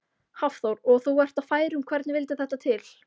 Hafþór: Og þú ert á færum, hvernig vildi þetta til?